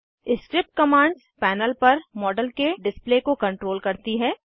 script commands panel पर model के display को कंट्रोल करती हैं